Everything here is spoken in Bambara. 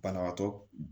Banabaatɔ